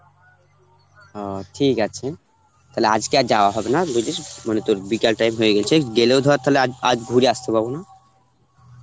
অ ঠিক আছে তালে আজকে আর যাওয়া হবে না তোর বিকাল time হয়ে গেছে গেলেও ধর তালে আজ~ আজ ঘুরে আসতে পারবো না